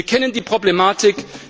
Wir kennen die Problematik.